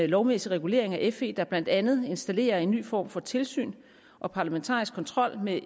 lovmæssig regulering af fe der blandt andet installerer en ny form for tilsyn og parlamentarisk kontrol med